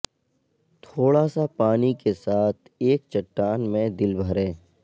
تھوڑا سا پانی کے ساتھ ایک چٹان میں دل بھریں